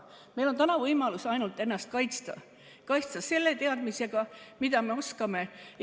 Meil on täna võimalus ainult ennast kaitsta – kaitsta selle teadmisega, mida me oskame.